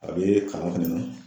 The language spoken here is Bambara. A bɛ kalan fɛnɛ na